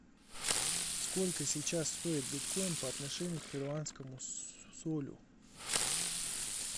сколько сейчас стоит биткоин по отношению к перуанскому солю